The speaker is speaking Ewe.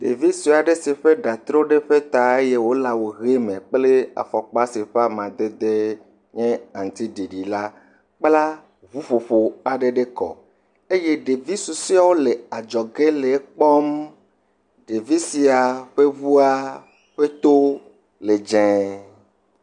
Ɖevi sue aɖe si ƒe ɖa tro ɖe eƒe ta eye wole awu he kple afɔkpa si ƒe amadede nye aŋutiɖiɖi la, kpla ŋuƒoƒo aɖe ɖe kɔ eye ɖevi susɔwo le adzɔge le ekpɔm, ɖevi sia ƒe ŋuwo ƒe to le dzɛe.